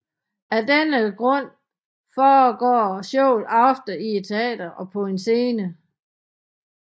Af denne grund foregår showet ofte i et teater på en scene